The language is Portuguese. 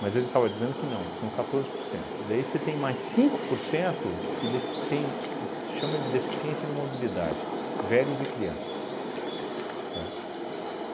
mas ele estava dizendo que não, que são quatorze por cento e daí você tem mais cinco por cento que def tem o que se chama de deficiência de mobilidade, velhos e crianças, tá?